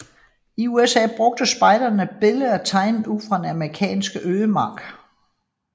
I USA bruger spejderne billeder tegnet ud fra den amerikanske ødemark